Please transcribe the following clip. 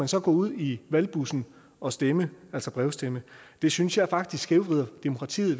så gå ud i valgbussen og stemme altså brevstemme det synes jeg faktisk skævvrider demokratiet